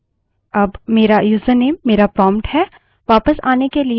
अब मेरा यूजरनेम मेरा prompt है